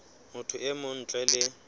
motho e mong ntle le